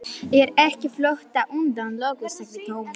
Ég er ekki á flótta undan lögum sagði Thomas.